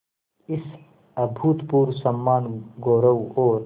इस अभूतपूर्व सम्मानगौरव और